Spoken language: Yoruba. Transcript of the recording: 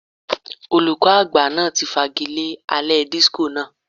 Olùkọ́ àgbà náà ti fagilé alẹ́ disco náà.